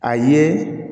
A ye